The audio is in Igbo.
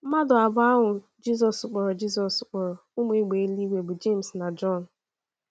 Mmadụ abụọ ahụ Jizọs kpọrọ Jizọs kpọrọ “ Ụmụ Égbè Eluigwe ” bụ Jems na Jọn.